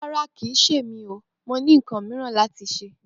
Ràrá ní ò lọ, mò sẹ kàn mí lọwọ.